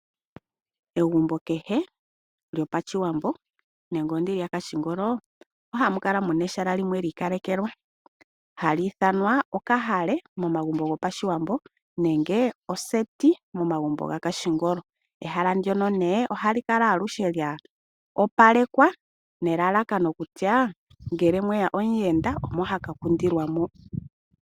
Egumbo kehe lyoPashiwambo nenge lopandoolopa ohamu kala mu na ehala limwe li ikalekelwa ha li ithanwa oshinyanga momagumbo goPashiwambo nenge oseti momagumbo gomoondoolopa. Ehala ndika ohali kala aluhe lya opalekwa nelalakano kutya ngele mwe ya omuyenda omo ha ka kundilwa moka.